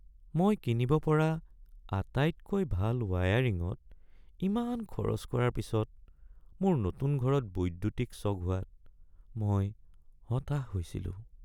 মই কিনিব পৰা আটাইতকৈ ভাল ৱায়াৰিংত ইমান খৰচ কৰাৰ পিছত, মোৰ নতুন ঘৰত বৈদ্যুতিক শ্বক হোৱাত মই হতাশ হৈছিলো।